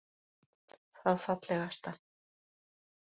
Það fallegasta